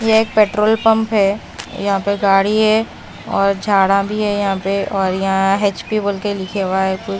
यह एक petrol pump है यहां पर गाड़ी है और झाड़ा भी हैं यहां पे और यहां एच_पी बोल के लिखे हुआ है कु--